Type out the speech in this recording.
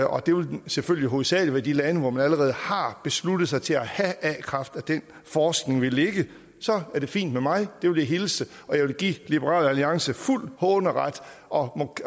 og det vil selvfølgelig hovedsagelig være i de lande hvor man allerede har besluttet sig til at have a kraft at den forskning vil ligge så er det fint med mig og det vil jeg hilse og jeg vil give liberal alliance fuld håneret og